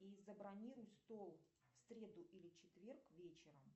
и забронируй стол в среду или четверг вечером